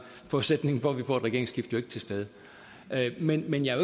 forudsætningen for at vi får et regeringsskifte jo ikke til stede men men jeg